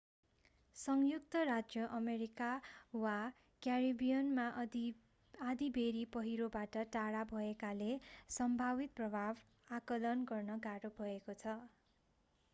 संयुक्त राज्य अमेरिका वा क्यारिबियनमा आँधीबेहरी पहिरोबाट टाढा भएकाले सम्भावित प्रभाव आकलन गर्न गाह्रो भएको छ